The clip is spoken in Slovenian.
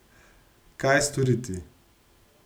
Kaj storiti?